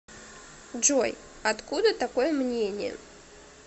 джой откуда такое мнение